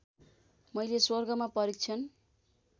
मैले स्वर्गमा परीक्षण